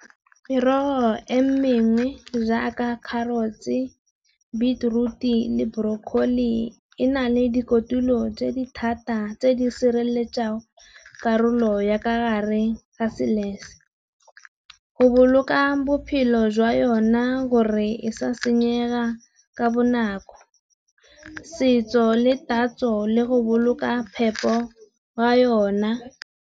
Merogo e mengwe jaaka kharotse, beetroot-i le brokholi e na le di kotulo tse di thata tse di sireletsang karolo ya kare ga Go boloka bophelo jwa yona gore e sa senyega ka bonako, setso le tatso le go boloka phepo ya yona.